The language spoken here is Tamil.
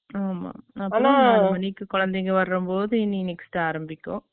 ஆமா. ஆனா, ஒரு மணிக்கு, குழந்தைங்க வரும்போது, இனி, next ஆரம்பிக்கும்.